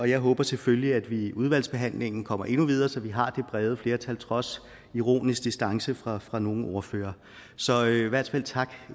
jeg håber selvfølgelig at vi i udvalgsbehandlingen kommer endnu videre så vi har det brede flertal trods ironisk distance fra fra nogle af ordførerne så i hvert fald tak